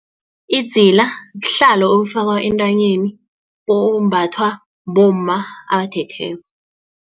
Idzila buhlalo obufakwa entanyeni obumbathwa bomma abathethweko.